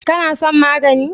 Kana son magani?